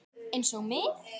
Einsog mig.